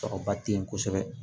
Sɔrɔba tɛ yen kosɛbɛ